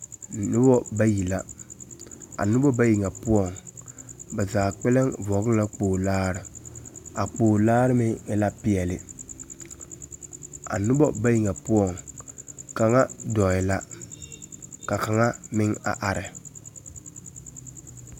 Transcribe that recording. Noba bayi la. A noba bayi ŋa poɔŋ, ba haa kpɛlɛŋ vɔgele la kpogilaare. A kpogilaare meŋ e la peɛle a noba bayi ŋa poɔŋ, kaŋa dɔɔɛ la. Ka kaŋa meŋ a are.